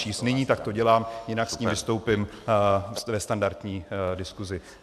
Nyní tak to dělám, jinak s ním vystoupím ve standardní diskusi.